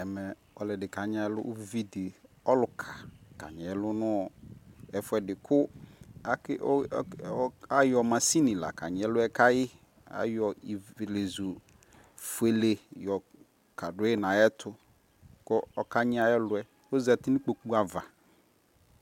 Ɛmɛɛ uvidi kanyiɛlu nu ɛfuɛdi ku ayɔ machine la kanyiɛluɛ ayɔ ivleƶu fuele kadui nayɛtu kɔkanyi ayɛluɛkoƶati nikpokuava